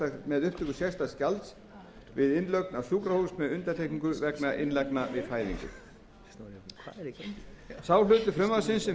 með upptöku sérstaks gjalds við innlögn á sjúkrahús með undantekningu vegna innlagnar við fæðingu sá hluti frumvarpsins sem felur